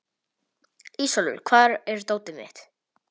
Ísólfur, hvar er dótið mitt?